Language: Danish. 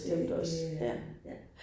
Det det ja